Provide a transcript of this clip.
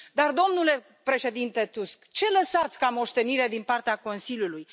Dar, domnule președinte Tusk, ce lăsați ca moștenire din partea Consiliului?